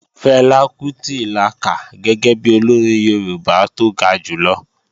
Fẹlá Kútì la kà gẹ́gẹ́ bi Olórin Yorùbá tó ga jùlọ